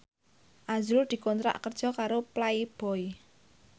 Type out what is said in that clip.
azrul dikontrak kerja karo Playboy